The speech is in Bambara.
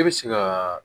E bɛ se ka